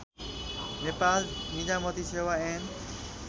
नेपाल निजामती सेवा ऐन